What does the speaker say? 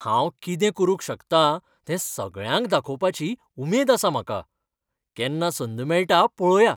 हांव कितें करूंक शकता तें सगळ्यांक दाखोवपाची उमेद आसा म्हाका. केन्ना संद मेळटा पळोवया.